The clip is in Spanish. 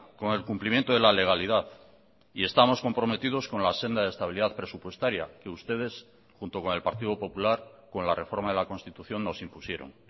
con el cumplimiento de la legalidad y estamos comprometidos con la senda de estabilidad presupuestaria que ustedes junto con el partido popular con la reforma de la constitución nos impusieron